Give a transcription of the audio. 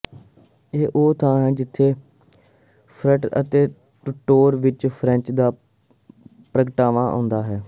ਇਹੀ ਉਹ ਥਾਂ ਹੈ ਜਿੱਥੇ ਫਰਟ ਸੇ ਟੂਟੋਰ ਵਿਚ ਫ੍ਰੈਂਚ ਦਾ ਪ੍ਰਗਟਾਵਾ ਆਉਂਦਾ ਹੈ